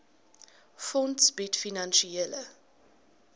fonds bied finansiële